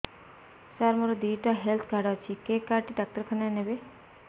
ସାର ମୋର ଦିଇଟା health card ଅଛି କେ କାର୍ଡ ଟି ଡାକ୍ତରଖାନା ରେ ନେବେ